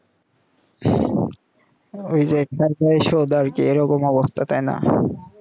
ওই যে একবার অসদ আরকি এইরকম অবস্থা তাই না